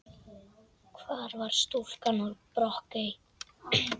Hvar var stúlkan úr Brokey?